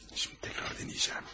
Şimdi təkrar denəyəcəm.